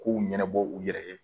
K'u ɲɛnabɔ u yɛrɛ ye